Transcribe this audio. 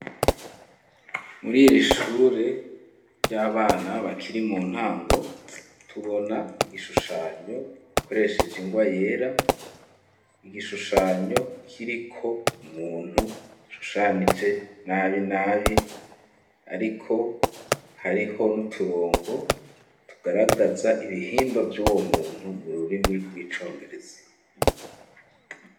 Muri ir'ishure ry'abana bakiri mu ntango tubona igishushanyo koresheje ingwa yera igishushanyo kiriko muntu shushanije nabi nabi ariko hariho n'uturongo tugaragaza ibihimba vy'uwo muntu mu rurimi rw'icongereze.